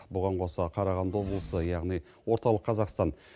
бұған қоса қарағанды облысы яғни орталық қазақстан